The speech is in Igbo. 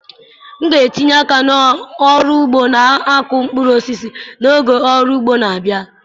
M ga-etinye aka n'ọrụ ugbo na-akụ mkpụrụ osisi n'oge ọrụ ugbo na-abịa.